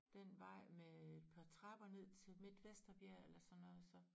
Den vej med et par trapper ned til midt Vesterbjerg eller sådan noget så